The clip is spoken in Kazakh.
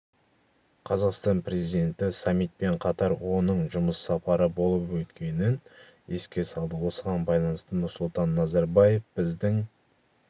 қазақстан президенті саммитпен қатар оның жұмыс сапары болып өткенін еске салды осыған байланысты нұрсұлтан назарбаев біздің